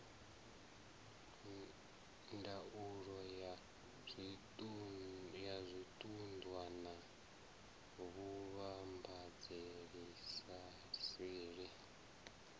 ndaulo ya zwiṱunḓwa na vhuvhambadzelaseli